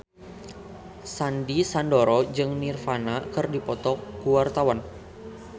Sandy Sandoro jeung Nirvana keur dipoto ku wartawan